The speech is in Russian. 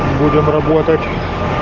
будем работать